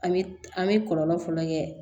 An bɛ an bɛ kɔlɔlɔ fɔlɔ kɛ